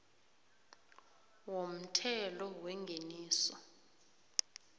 womthelo wengeniso